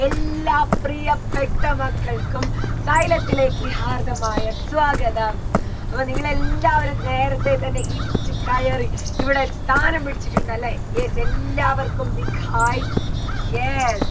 എല്ലാ പ്രിയപ്പെട്ട മക്കൾക്കും സൈലത്തിലേക്ക് ഹാർദ്ദമായ സ്വാഗതം അപ്പൊ നിങ്ങളെല്ലാവരും നേരത്തെ തന്നെ ഇടിച്ചു കയറി ഇവിടെ സ്ഥാനം പിടിച്ചിട്ടുണ്ടലേ yes എല്ലാവർക്കും big hai yes